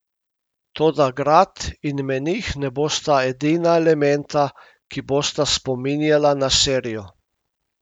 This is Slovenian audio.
Toda grad in menih ne bosta edina elementa, ki bosta spominjala na serijo.